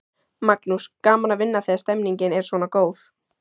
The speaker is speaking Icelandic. Magnús: Gaman að vinna þegar stemningin er svona góð?